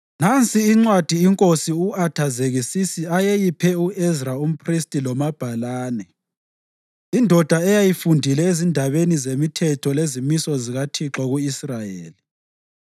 Nansi incwadi iNkosi u-Athazekisisi ayeyiphe u-Ezra umphristi lomabhalane, indoda eyayifundile ezindabeni zemithetho lezimiso zikaThixo ku-Israyeli: